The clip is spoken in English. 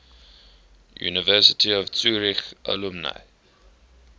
university of zurich alumni